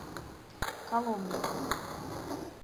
коломне